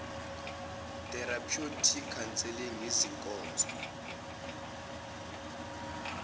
therapeutic counselling izinkonzo